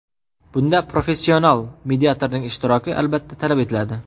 Bunda professional mediatorning ishtiroki albatta talab etiladi.